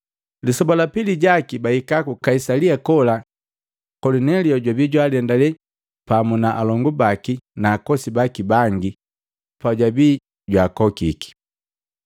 Lisoba la pili jaki bahika ku Kaisalia na kola Kolinelio jwabi jwaalendale pamu na alongu baki na akosi baki bangi bajwabi jwaakokiki.